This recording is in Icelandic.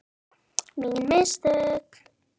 Mín mistök?